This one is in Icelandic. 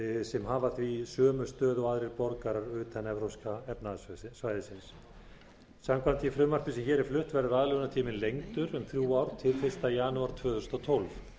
sem hafa því sömu stöðu og aðrir borgarar utan evrópska efnahagssvæðisins samkvæmt því frumvarpi sem hér er flutt verður aðlögunartíminn lengdur um þrjú ár til fyrsta janúar tvö þúsund og tólf